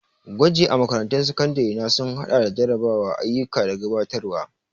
Gwaji a makarantun sakandare na sun haɗa da jarrabawa, ayyuka da gabatarwa.